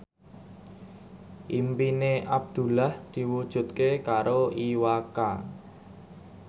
impine Abdullah diwujudke karo Iwa K